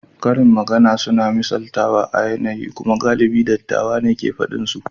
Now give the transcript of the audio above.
Karin magana suna da misaltawa a yanayi kuma galibin dattawa ne ke faɗin su.